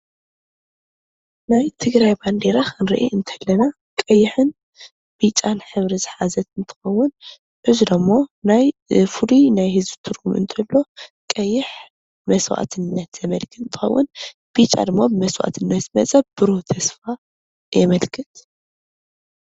ናይ ትግራይ ባንዴራ ክንርኢ ከለና ቀይሕን ቢጫን ሕብሪ ዝሓዘት እንትኸውን እዚ ደሞ ናይ ፍሉይ ናይ ህዝቢ ትርጉም እንትህልዎ ቀይሕ መስዋዕትነት ዘመልክት እንትኾን ቢጫ ድማ መስዋዕትነት መፃኢ ብሩህ ተስፋ የመልክት ።